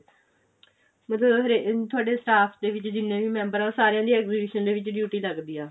ਮਤਲਬ ਹਰੇ ਤੁਹਾਡੇ staff ਦੇ ਵਿੱਚ ਜਿੰਨੇ ਵੀ ਮੈਂਬਰ ਆਂ ਉਹ ਸਾਰੀਆਂ ਦੀ exhibition ਦੇ ਵਿੱਚ duty ਲੱਗਦੀ ਏ